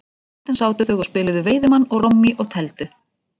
Á kvöldin sátu þau og spiluðu veiðimann og rommí og tefldu.